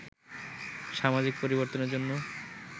সামাজিক পরিবর্তনের জন্য